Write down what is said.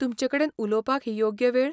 तुमचेकडेन उलोवपाक हो योग्य वेळ ?